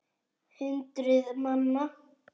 Hundruð manna.